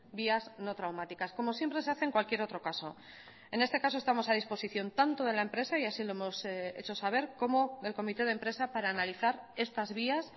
vías no traumáticas como siempre se hace en cualquier otro caso en este caso estamos a disposición tanto de la empresa y así lo hemos hecho saber como del comité de empresa para analizar estas vías